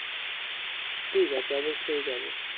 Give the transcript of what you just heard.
ঠিক আছে অবশ্যই যাবো